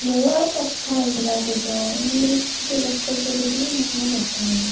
ମୁଁ ଆଉ କଥା ହେଇନି ତା ସହ ମୁଁ ଏଇ ଟିକେ ବ୍ୟସ୍ତ ଭିତରେ ରହୁଛିନା ମୁଁ ଆଉ କଥା ହେଇନି।